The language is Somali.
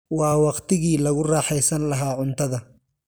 Waa waqtigii lagu raaxaysan lahaa cuntada.